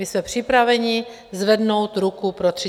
My jsme připraveni zvednout ruku pro 30 dnů.